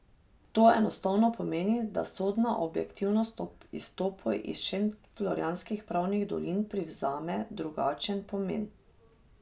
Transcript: To enostavno pomeni, da sodna objektivnost ob izstopu iz šentflorjanskih pravnih dolin privzame drugačen pomen.